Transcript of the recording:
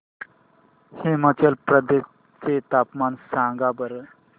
हिमाचल प्रदेश चे तापमान सांगा बरं